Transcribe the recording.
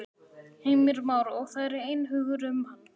Heimir Már: Og það er einhugur um hana?